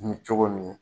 Kun bɛ cogo min